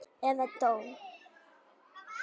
Eða dó.